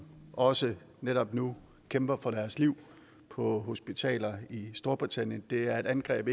også netop nu kæmper for deres liv på hospitaler i storbritannien det er et angreb